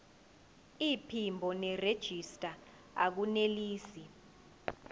iphimbo nerejista akunelisi